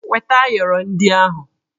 Weta ayọrọ ndị ahụ!